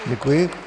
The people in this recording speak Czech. Děkuji.